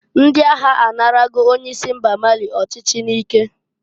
Ndị agha a narago onye isi mba Mali ọchịchị n'ike.